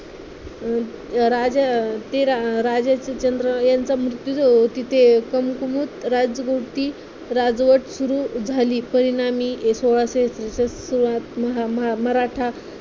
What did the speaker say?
राजा ते राजाचे चंद्र यांचा मृत्यू तिथे राजभोवती राजवट सुरु झाली परिणामी सोळाशे म म मराठा